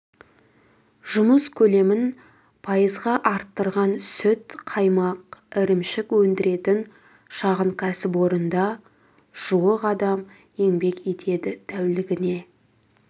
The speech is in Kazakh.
жұмыс көлемін пайызға арттырған сүт қаймақ ірімшік өндіретін шағын кәсіпорында жуық адам еңбек етеді тәулігіне